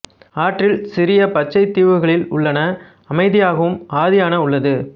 ஆற்றில் சிறிய பச்சை தீவுகளில் உள்ளன அமைதியாகவும் ஆதியான உள்ளது